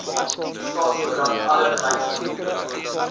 staatskoerant alle beleidsdokumente